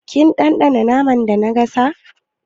Kin ɗanɗana naman da na gasa?